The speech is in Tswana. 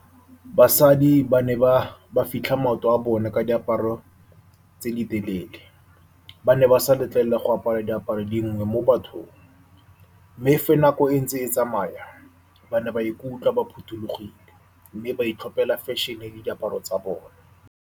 Basadi ba ne ba fitlha maoto a bone ka diaparo tse di telele. Ba ne ba sa letlelelwa go apara diaparo dingwe mo bathong. Mme fa nako e ntse e tsamaya, ba ne ba ikutlwa ba phothulogile mme ba itlhopela fashion-e le diaparo tsa bone.